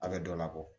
A bɛ dɔ labɔ